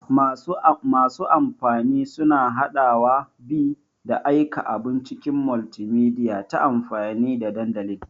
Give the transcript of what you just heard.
Masu amfani suna haɗawa, bi, da aika abun cikin multimedia ta amfani da dandalin X.